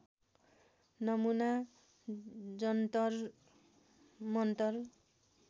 नमुना जन्तर मन्तर